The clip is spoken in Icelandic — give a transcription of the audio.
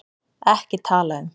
EKKI TALA UM